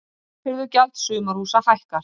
Sorphirðugjald sumarhúsa hækkar